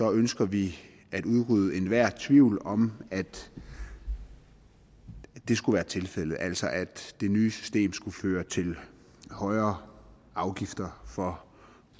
ønsker vi at udrydde enhver tvivl om at det skulle være tilfældet altså at det nye system skulle føre til højere afgifter for